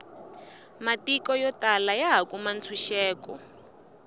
matiko yo tala yaha kukuma ntshuxeko